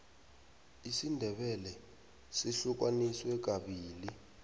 isindebele sihlukaniswe kabili